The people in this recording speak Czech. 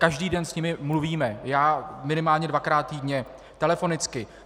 Každý den s nimi mluvíme, já minimálně dvakrát týdně telefonicky.